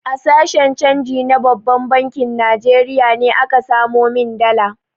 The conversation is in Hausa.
A sashen canji na babban bankin Najeriya ne aka samo min dala.